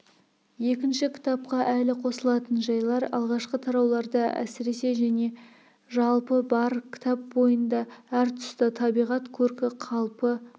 екінші кітапқа әлі қосылатын жайлар алғашқы тарауларда әсіресе және жалпы бар кітап бойында әр тұста табиғат көркі қалпы